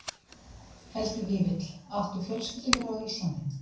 Helgi Vífill: Áttu fjölskyldu hér á Íslandi?